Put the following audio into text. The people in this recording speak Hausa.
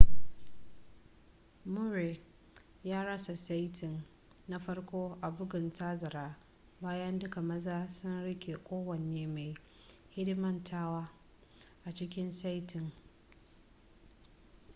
murray ya rasa saiti na farko a bugun tazara bayan duka maza sun rike kowane mai hidimtawa a cikin saitin